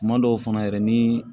Kuma dɔw fana yɛrɛ ni